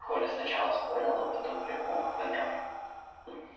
коля сначала спорил а потом примолк поняв